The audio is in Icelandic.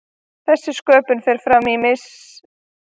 þessi sköpun fer fram í miklum tilvistarlegum átökum